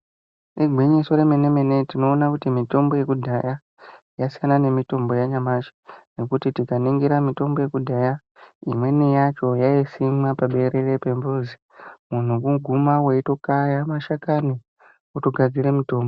Igwinyiso remene mene tinoona kuti mitombo yekudhaya yasiyana nemitombo yanyamashi. Nekuti tikaningira mitombo yekudhaya imweni yacho yaisimwa paberere pemuzi. Muntu kuguma weitokaya mashakani wotogadzira mutombo.